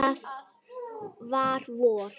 Því það var vor.